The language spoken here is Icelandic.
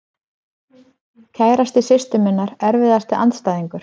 Kærasti systur minnar Erfiðasti andstæðingur?